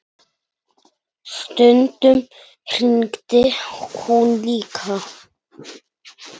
Stundum hringdi hún líka.